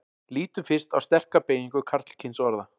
lítum fyrst á sterka beygingu karlkynsorða